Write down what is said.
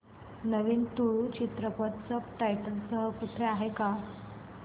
नवीन तुळू चित्रपट subtitles सह कुठे आहे का